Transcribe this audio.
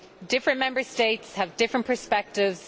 Different Member States have different perspectives.